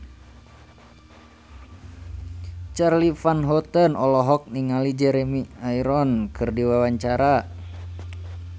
Charly Van Houten olohok ningali Jeremy Irons keur diwawancara